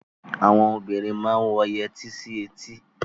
Àwon obinrin ń wọ yẹtí sí etí.